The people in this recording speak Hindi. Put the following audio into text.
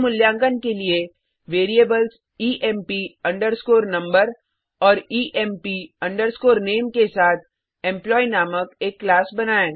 स्वमूल्यांकन के लिए वेरिएबल्स ईएमपी अंडरस्कोर नंबर और ईएमपी अंडरस्कोर नामे के साथ एम्प्लॉयी नामक एक क्लास